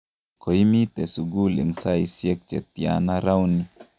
koimite sukul eng' saisiek che tyana rauni?